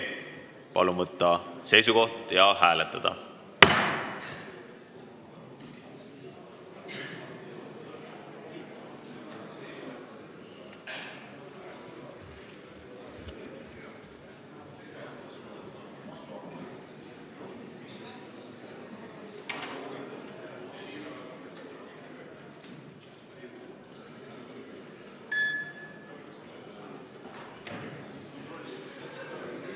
Palun võtta seisukoht ja hääletada!